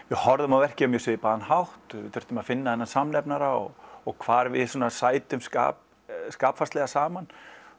við horfðum á verkið á mjög svipaðan hátt þurftum að finna þennan samnefnara og og hvar við sætum skapfarslega saman